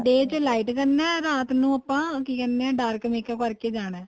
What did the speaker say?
day ਚ light ਕਰਨਾ ਏ ਰਾਤ ਨੂੰ ਆਪਾਂ ਕੀ ਕਹਿਣੇ ਹਾਂ dark ਕਰਕੇ ਜਾਣਾ